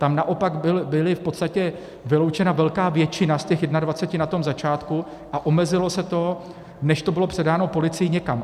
Tam naopak byla v podstatě vyloučena velká většina z těch 21 na tom začátku a omezilo se to, než to bylo předáno policii, někam.